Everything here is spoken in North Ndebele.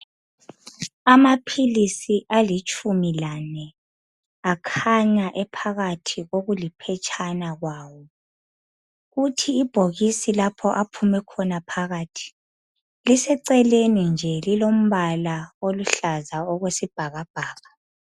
Amaphilisi alitshumi lane akhanya ephakathi kokuliphetshana lawo kuthi ibhokisi aphume khona phakathi liseceleni lilombala oluhlaza okwesibhakabhaka.